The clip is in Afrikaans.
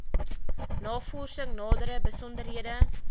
navorsing nadere besonderhede